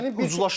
Gücünə görə.